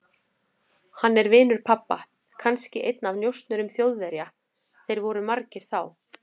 Hann er vinur pabba, kannski einn af njósnurum Þjóðverja, þeir voru margir þá.